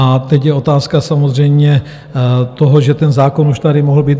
A teď je otázka samozřejmě toho, že ten zákon už tady mohl být.